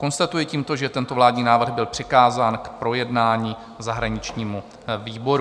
Konstatuji tímto, že tento vládní návrh byl přikázán k projednání zahraničnímu výboru.